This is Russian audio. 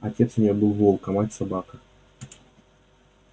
отец у неё был волк а мать собака